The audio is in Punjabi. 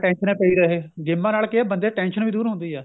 ਟੇਂਸ਼ਨਾ ਪਈ ਰਹੇ ਗੇਮਾ ਨਾਲ ਕੀ ਬੱਚੇ tension ਵੀ ਦੂਰ ਹੁੰਦੀ ਆ